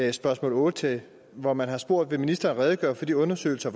i spørgsmål otte hvor man har spurgt vil ministeren redegøre for de undersøgelser